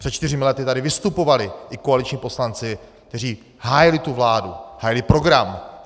Před čtyřmi lety tady vystupovali i koaliční poslanci, kteří hájili tu vládu, hájili program.